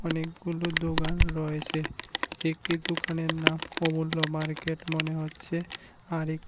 অনেকগুলো দোকান রয়েছে একটি দোকানের নাম কমলা মার্কেট মনে হচ্ছে আর এক--